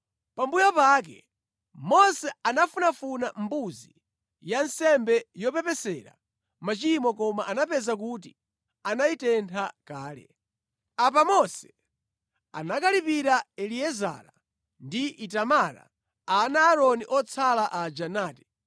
Pambuyo pake Mose anafunafuna mbuzi ya nsembe yopepesera machimo koma anapeza kuti anayitentha kale. Apa Mose anakalipira Eliezara ndi Itamara, ana a Aaroni otsala aja nati,